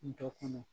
Dɔ kɔnɔ